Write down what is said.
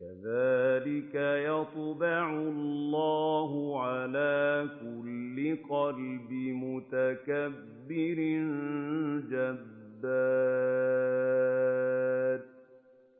كَذَٰلِكَ يَطْبَعُ اللَّهُ عَلَىٰ كُلِّ قَلْبِ مُتَكَبِّرٍ جَبَّارٍ